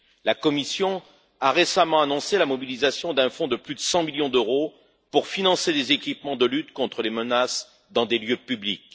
La Commission a récemment annoncé la mobilisation d'un fonds de plus de 100 millions d'euros pour financer des équipements de lutte contre les menaces dans des lieux publics.